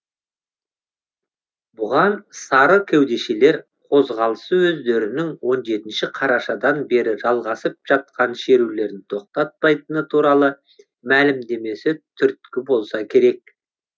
бұған сары кеудешелер қозғалысы өздерінің он жетінші қарашадан бері жалғасып жатқан шерулерін тоқтатпайтыны туралы мәлімдемесі түрткі болса керек